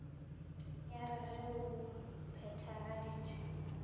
ya r ge o phethagaditše